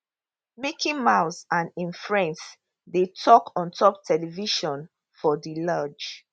mickey mouse and im friends dey tok ontop television for di lounge